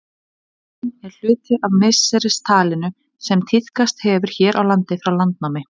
Dagurinn er hluti af misseristalinu sem tíðkast hefur hér á landi frá landnámi.